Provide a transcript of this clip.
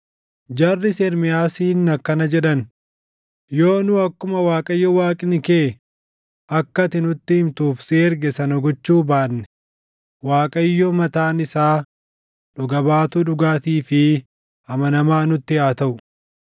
Jarris Ermiyaasiin akkana jedhan; “Yoo nu akkuma Waaqayyo Waaqni kee akka ati nutti himtuuf si erge sana gochuu baanne Waaqayyo mataan isaa dhuga baatuu dhugaatii fi amanamaa nutti haa taʼu.